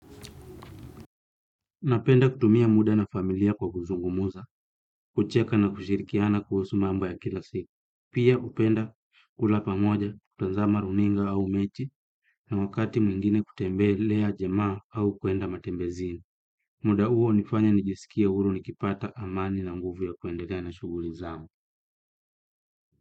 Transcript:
Napenda kutumia muda na familia kwa kuzungumza, kucheka na kushirikiana kuhusu mambo ya kila siku. Pia hupenda kula pamoja, kutazama runinga au mechi na wakati mwingine kutembelea jamaa au kuenda matembezini. Muda uo hunifanya nijisikie huru nikipata amani na nguvu ya kuendelea na shughuli zangu.